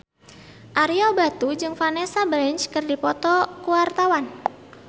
Ario Batu jeung Vanessa Branch keur dipoto ku wartawan